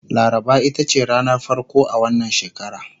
laraba itace ranar farko a wannan shekara